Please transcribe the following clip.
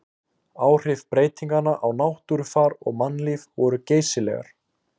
Áhrif breytinganna á náttúrufar og mannlíf voru geysileg.